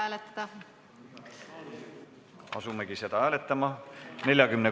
Palun ka seda muudatusettepanekut hääletada!